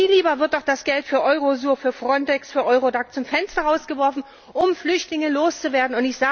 Viel lieber wird doch das Geld für EUROSUR, für FRONTEX, für EURODAC zum Fenster raus geworfen, um Flüchtlinge los zu werden.